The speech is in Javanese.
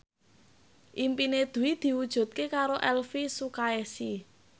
impine Dwi diwujudke karo Elvy Sukaesih